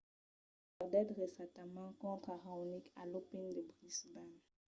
perdèt recentament contra raonic a l’open de brisbane